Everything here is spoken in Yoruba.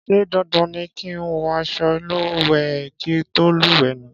Ṣé dandan ni kí ń wọ àsọ ìlúwẹ kí tó lúwẹ ni?